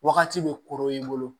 Wagati bɛ korony'i bolo